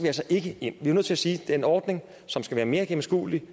altså ikke ind vi er nødt til at sige at det er en ordning som skal være mere gennemskuelig